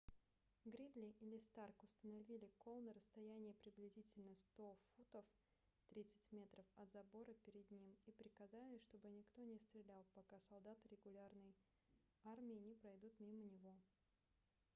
гридли или старк установили кол на расстоянии приблизительно 100 футов 30 м от забора перед ним и приказали чтобы никто не стрелял пока солдаты регулярной армии не пройдут мимо него